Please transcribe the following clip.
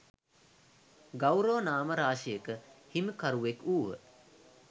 ගෞරව නාම රාශියක හිමිකරුවෙක් වූහ.